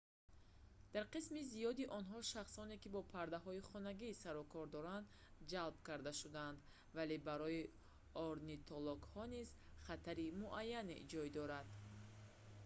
дар қисми зиёди онҳо шахсоне ки бо паррандаҳои хонагӣ сарукор доранд ҷалб карда шудаанд вале барои орнитологҳо низ хатари муайяне ҷой дорад